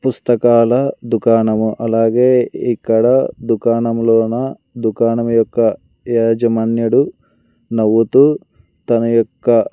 పుస్తకాల దుకాణము అలాగే ఇక్కడ దుకాణంలోనా దుకాణం యొక్క యాజమాన్యుడు నవ్వుతూ తన యొక్క.